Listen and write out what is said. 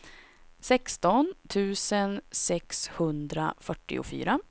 sexton tusen sexhundrafyrtiofyra